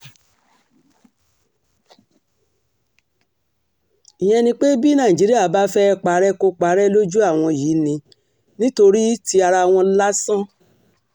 ìyẹn ni pé bí nàìjíríà bá fẹ́ẹ́ parẹ́ kò parẹ́ lójú àwọn yìí ni nítorí ti ara wọn lásán